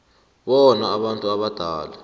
bona abantu abadala